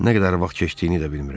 Nə qədər vaxt keçdiyini də bilmirəm.